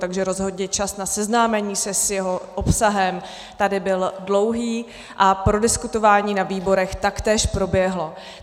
Takže rozhodně čas na seznámení se s jeho obsahem tady byl dlouhý a prodiskutování na výborech taktéž proběhlo.